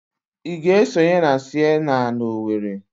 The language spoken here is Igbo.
Ị ga-esonye na Sienna na Owerri?